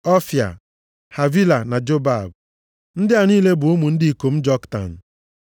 Ọfịa, Havila na Jobab. Ndị a niile bụ ụmụ ndị ikom Joktan.